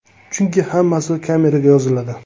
Chunki hammasi kameraga yoziladi.